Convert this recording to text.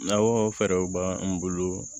Nakɔ fɛɛrɛw b'an bolo